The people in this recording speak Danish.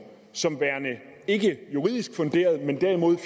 som værende ikkejuridisk funderet men derimod